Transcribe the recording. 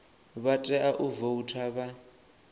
vha tea u voutha vha